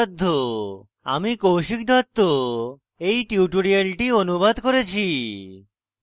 আমি কৌশিক দত্ত এই টিউটোরিয়ালটি অনুবাদ করেছি